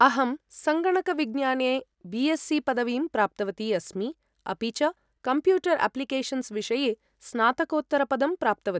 अहं सङ्गणकविज्ञाने B S C पदवीं प्राप्तवती अस्मि, अपि च कम्प्यूटर् अप्लिकेशन्स् विषये स्नातकोत्तरपदं प्राप्तवती।